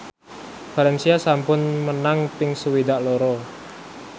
valencia sampun menang ping swidak loro